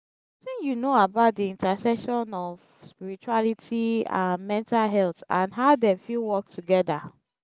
wetin you know about di intersection of spirituality and mental health and how dem fit work together?